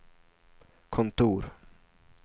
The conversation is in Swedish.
kontor